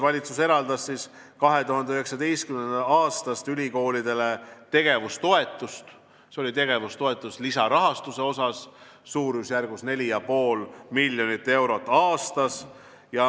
Valitsus on eraldanud 2019. aastast ülikoolidele tegevustoetust lisarahastusena suurusjärgus 4,5 miljonit eurot aastas.